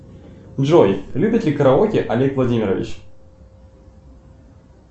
джой любит ли караоке олег владимирович